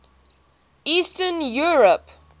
eastern europe